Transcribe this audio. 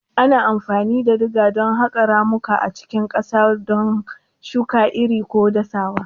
Ana amfani da diga don haƙa ramuka a cikin ƙasa, don shuka iri ko dasawa.